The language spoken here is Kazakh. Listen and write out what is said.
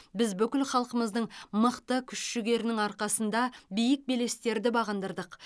біз бүкіл халқымыздың мықты күш жігерінің арқасында биік белестерді бағындырдық